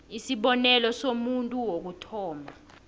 isibonelo somuntu wokuthoma